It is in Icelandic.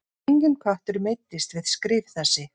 Enginn köttur meiddist við skrif þessi.